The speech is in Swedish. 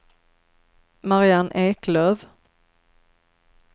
Marianne Eklöf